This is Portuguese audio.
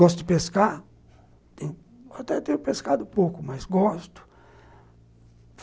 Gosto de pescar, até tenho pescado pouco, mas gosto.